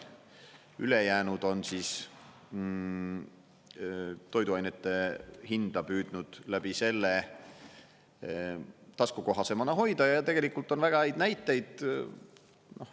Ülejäänud on toiduainete hinda püüdnud läbi selle taskukohasemana hoida ja tegelikult on väga häid näiteid.